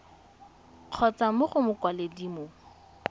kgotsa mo go mokwaledi mo